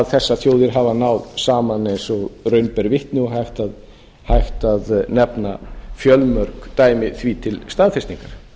þessar þjóðir hafa náð saman eins og raun ber vitni og hægt að nefna fjölmörg dæmi því til staðfestingar